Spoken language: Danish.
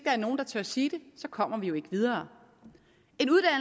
er nogen der tør sige det så kommer vi jo ikke videre